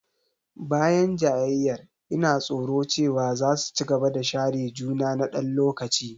Bayan jayayyar, ina tsoro cewa za su ci gaba da share juna na ɗan lokaci.